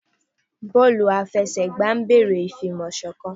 Bọọlu àfẹsẹ̀gbá ń béèrè ìfi ìmọ̀ sọ̀kan